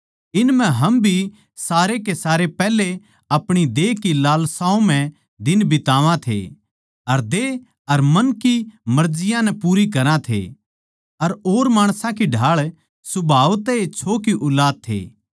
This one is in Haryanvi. इन म्ह हम भी सारे के सारे पैहले अपणी देह की लालसाओं म्ह दिन बितावा थे अर देह अर मन की मर्जियाँ नै पूरी करा थे अर और माणसां की ढाळ सुभाव तै ए छो की ऊलाद थे